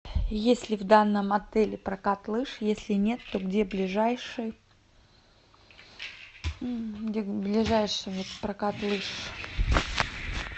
есть ли в данном отеле прокат лыж если нет то где ближайший где ближайший прокат лыж